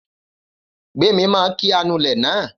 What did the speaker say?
Gbémi máa kí anulẹ̀ náà